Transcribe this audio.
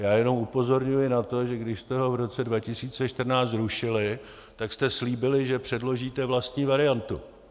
Já jenom upozorňuji na to, že když jste ho v roce 2014 zrušili, tak jste slíbili, že předložíte vlastní variantu.